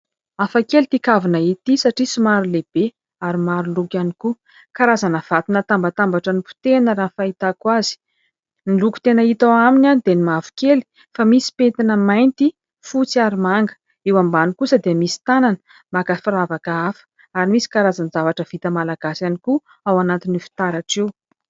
Afakely ity kavina ity satria somary lehibe ary maroloko ihany koa, karazana vato natambatambatra ary ny nipotehina raha ny fahitako azy, ny loko tena hita ao aminy dia ny mavokely fa misy mipentina mainty fotsy ary manga eo ambany kosa dia misy tanana maka firavaka afa ary misy karazany zavatra vita malagasy ihany koa ao anatin'ny fitaratra io.